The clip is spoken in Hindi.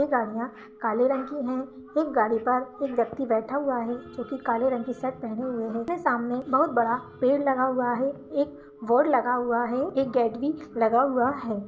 ये गाड़ियाँ काले रंग की हैं एक गाड़ी पर एक व्यक्ति बैठा हुआ है जो कि काले रंग के शर्ट पहने हुए है सामने एक बहुत बड़ा पेड़ लगा हुआ है एक बोर्ड लगा हुआ है एक गेट भी लगा हुआ है।